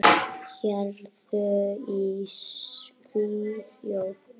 Héruð í Svíþjóð